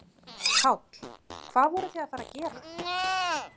Páll: Hvað voruð þið að fara að gera?